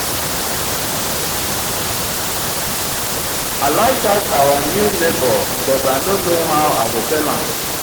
i like dat our new neighbor but i no know how i go tell am